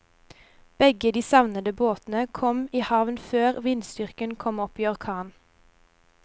Begge de savnede båtene kom i havn før vindstyrken kom opp i orkan.